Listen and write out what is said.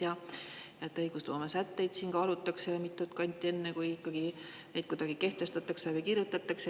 Ja et õigusloome sätteid kaalutakse mitut kanti, enne kui neid kuidagi kehtestatakse või kuhugi kirjutatakse.